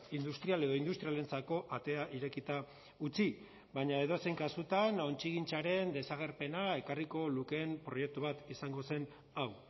industrial edo industrialentzako atea irekita utzi baina edozein kasutan ontzigintzaren desagerpena ekarriko lukeen proiektu bat izango zen hau